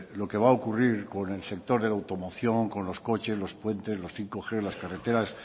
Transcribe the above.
lo que va a ocurrir con el sector de la automoción con los coches los puentes los bostg las carreteras